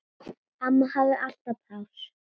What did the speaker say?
Amma hafði alltaf pláss.